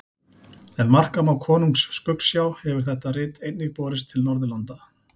Ef marka má Konungs skuggsjá hefur þetta rit einnig borist til Norðurlanda.